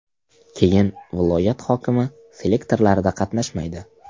Keyin viloyat hokimi selektorlarida qatnashmaydi.